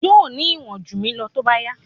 Yóò ní ìwọ̀n jù mí lọ tó bá yá.